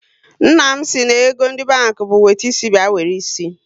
Nna m si na ego ndị banki bụ wete isi bịa were isi